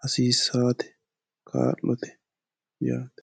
hasiisaate kaa'lote yaate